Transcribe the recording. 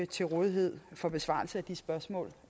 til rådighed for besvarelse af spørgsmål